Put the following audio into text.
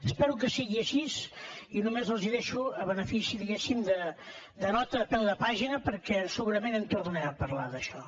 espero que sigui així i només els deixo el benefici diguéssim de nota a peu de pàgina perquè segurament en tornarem a parlar d’això